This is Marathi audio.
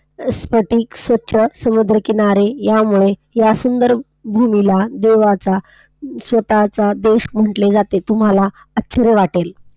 स्फटिक स्वच्छ, समुद्रकिनारी या मुळे, या सुंदर भूमीला देवाचा, स्वतःचा देश म्हंटले जाते, तुम्हाला आश्चर्य वाटेल!